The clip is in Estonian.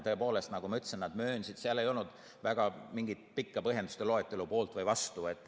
Tõepoolest, nagu ma ütlesin, seal ei olnud väga mingit pikka põhjenduste loetelu poolt või vastu.